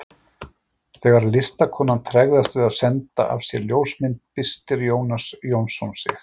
Þegar listakonan tregðast við að senda af sér ljósmynd byrstir Jónas Jónsson sig.